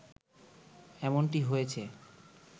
এমনটি হয়েছে